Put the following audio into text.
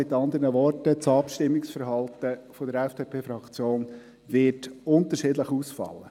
Mit anderen Worten: Das Abstimmungsverhalten der FDP-Fraktion wird unterschiedlich ausfallen.